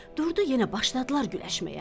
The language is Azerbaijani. Durdu, yenə başladılar güləşməyə.